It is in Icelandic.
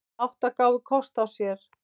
Átta gáfu kost á sér.